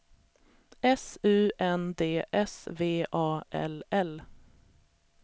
S U N D S V A L L